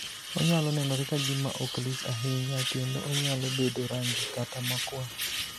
Onyalo nenore ka gima ok lich ahinya, kendo onyalo bedo rang'i kata makwar.